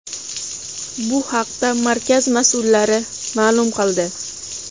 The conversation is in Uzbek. Bu haqda markaz mas’ullari ma’lum qildi.